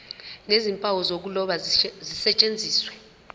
nezimpawu zokuloba zisetshenziswe